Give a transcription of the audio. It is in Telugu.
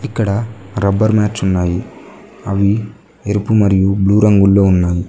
ఇక్కడ రబ్బర్ మాట్స్ ఉన్నాయి అవి ఎరుపు మరియు బ్లూ రంగుల్లో ఉన్నాయి.